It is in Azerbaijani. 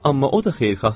Amma o da xeyirxahdır.